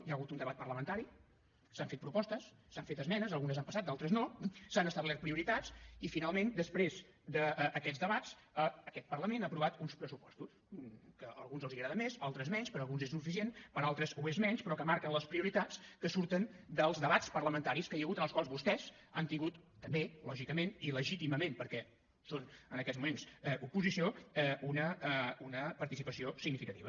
hi ha hagut un debat parlamentari s’han fet propostes s’han fet esmenes algunes han passat d’altres no s’han establert prioritats i finalment després d’aquests debats aquest parlament ha aprovat uns pressupostos que a alguns els agraden més a altres menys per a alguns és suficient per a altres ho és menys però que marquen les prioritats que surten dels debats parlamentaris que hi ha hagut en els quals vostès han tingut també lògicament i legítimament perquè són en aquests moments oposició una participació significativa